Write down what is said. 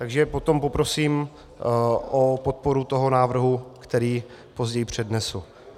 Takže potom poprosím o podporu toho návrhu, který později přednesu.